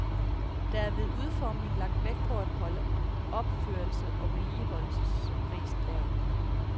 Der er ved udformningen lagt vægt på at holde opførelses- og vedligeholdelsesprisen lav.